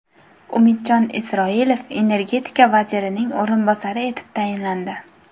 Umidjon Isroilov Energetika vazirining o‘rinbosari etib tayinlandi.